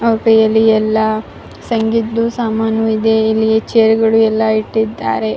ನಮ್ಮಸ್ತೆ ಎಲ್ಲಾರಿಗೂ ಇದು ಜಾನಪದ ನೃತ್ಯವಾಗಿದೆ .